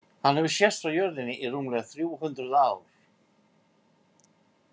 Hann hefur sést frá jörðinni í rúmlega þrjú hundruð ár.